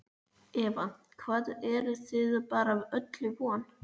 Eva: Hvað eruð þið bara öllu vön?